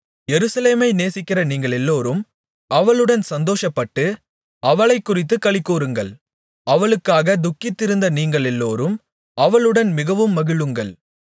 எருசலேமை நேசிக்கிற நீங்களெல்லோரும் அவளுடன் சந்தோஷப்பட்டு அவளைக்குறித்துக் களிகூருங்கள் அவளுக்காக துக்கித்திருந்த நீங்களெல்லோரும் அவளுடன் மிகவும் மகிழுங்கள்